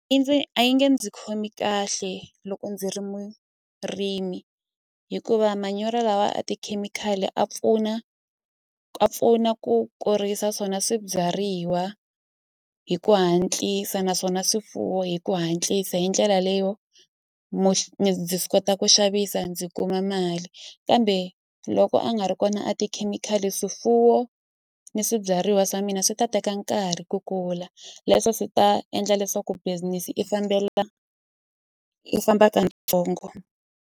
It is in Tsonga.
I ndzi a yi nge ndzi khomi kahle loko ndzi ri murimi hikuva manyoro lawa a tikhemikhali a pfuna a pfuna ku kurisa swona swibyariwa hi ku hatlisa naswona swifuwo hi ku hatlisa hi ndlela leyo kota ku xavisa ndzi kuma mali kambe loko a nga ri kona a tikhemikhali swifuwo ni swibyariwa swa mina swi ta teka nkarhi ku kula leswo swi ta endla leswaku business i fambela i famba katsongo.